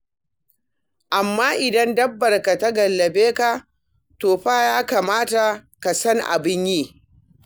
Amma idan dabbarka ta gallabe ka, to fa ya kamata ka san abin yi.